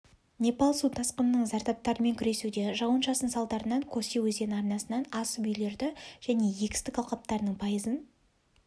непал су тасқынының зардаптарымен күресуде жауын-шашын салдарынан коси өзені арнасынан асып үйлерді және егістік алқаптарының пайызын